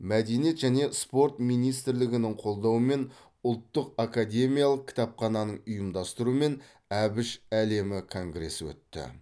мәдениет және спорт министрлігінің қолдауымен ұлттық академиялық кітапхананың ұйымдастыруымен әбіш әлемі конгресі өтті